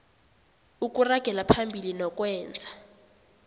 ukuragela phambili nokwenza